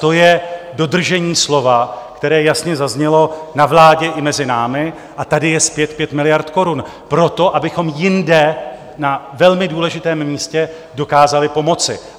To je dodržení slova, které jasně zaznělo na vládě i mezi námi a tady je zpět 5 miliard korun proto, abychom jinde na velmi důležitém místě dokázali pomoci.